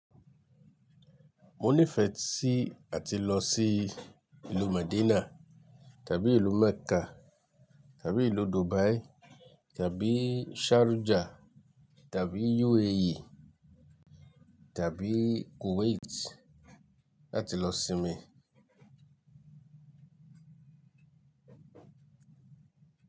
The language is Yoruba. Mo nífẹ̀ẹ́ sí àti lọ sí ìlú Madina tàbí ìlú Mecca tàbí ìlú Dubai tàbí Sharjah tàbí UAE tàbí Kuwait láti lọ sinmi.